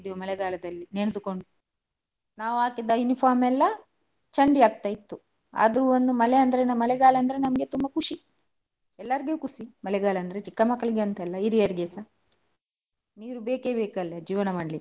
ಮಳೆಗಾಲದಲ್ಲಿ ನೆಂದುಕೊಂಡು ನಾವು ಹಾಕಿದ uniform ಎಲ್ಲಾ ಚಂಡಿ ಆಗ್ತಿತ್ತು , ಆದ್ರು ಮಳೆ ಅಂದ್ರೆ ಮಳೆಗಾಲ ಅಂದ್ರೆ ತುಂಬಾ ಖುಷಿ. ಎಲ್ಲರಿಗೂ ಖುಷಿ ಮಳೆಗಾಲ ಅಂದ್ರೆ ಸಣ್ಣ ಮಕ್ಕಳಿಗೆ ಅಂತ ಅಲ್ಲ ಹಿರಿಯರಿಗೆಸ ನೀರು ಬೇಕೇ ಬೇಕಲ್ಲ ಜೀವನ ಮಾಡಲಿಕ್ಕೆ.